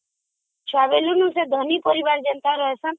ଛୁଆ ବେଳରୁ ସେମାନେ ଧନୀ ପରିବାର ଭଳି ରହିଛନ୍ତି